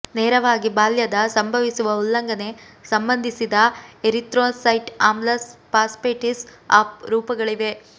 ನೇರವಾಗಿ ಬಾಲ್ಯದ ಸಂಭವಿಸುವ ಉಲ್ಲಂಘನೆ ಸಂಬಂಧಿಸಿದ ಎರಿಥ್ರೋಸೈಟ್ ಆಮ್ಲ ಫಾಸ್ಫೇಟೇಸ್ ಆಫ್ ರೂಪಗಳಿವೆ